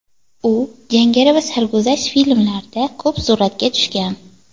U jangari va sarguzasht filmlarda ko‘p suratga tushgan.